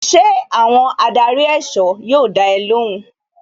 Ṣé àwọn adarí èsọ́ yóò dá ẹ lóhùn?